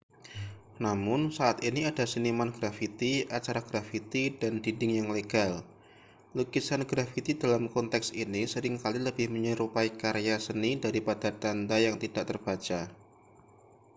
"namun saat ini ada seniman grafiti acara grafiti dan dinding yang legal . lukisan grafiti dalam konteks ini sering kali lebih menyerupai karya seni daripada tanda yang tidak terbaca.